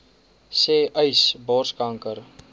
sê uys borskanker